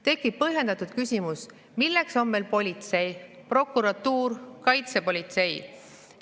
" Tekib põhjendatud küsimus, milleks on meil politsei, prokuratuur, kaitsepolitsei.